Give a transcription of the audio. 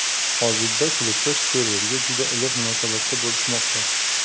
Hozirda klubda Serverga juda iliq munosabatda bo‘lishmoqda.